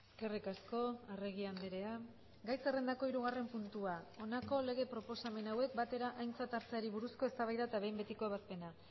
eskerrik asko arregi andrea gai zerrendako hirugarren puntua honako lege proposamen hauek batera aintzat hartzeari buruzko eztabaida eta behin betiko ebazpena